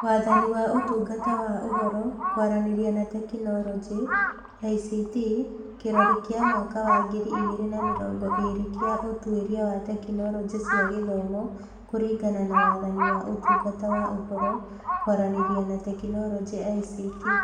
Wathani wa Ũtungata wa Ũhoro, Kwaranĩria na Teknoroji (ICT) kĩrori kĩa mwaka wa ngiri igĩrĩ na mĩrongo ĩĩrĩ kĩa ũtuĩria wa tekinoronjĩ cia gĩthomo kũringana na Wathani wa Ũtungata wa Ũhoro, Kwaranĩria na Teknoroji (ICT)